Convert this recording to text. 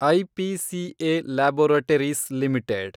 IPCA Laboratories limited